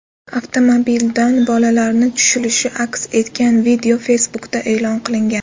Avtomobildan bolalarni tushilishi aks etgan video Facebook’da e’lon qilingan .